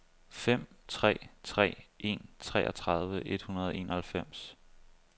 fem tre tre en treogtredive et hundrede og enoghalvfems